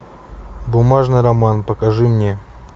бумажный роман покажи мне